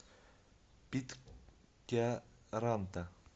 питкяранта